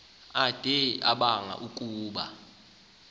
ade abanga ukuba